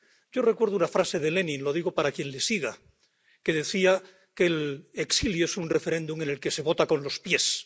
Yo recuerdo una frase de Lenin —lo digo para quien le siga—, que decía que el exilio es un referéndum en el que se vota con los pies.